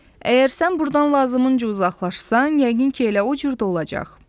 Əgər sən burdan lazımınc uzalaşsan, yəqin ki, elə o cür də olacaq.